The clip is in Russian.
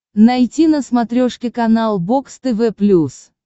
найти на смотрешке канал бокс тв плюс